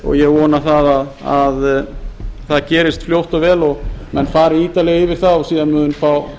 og ég vona að að gerist fljótt og vel og menn fari ítarlega yfir það og síðan mun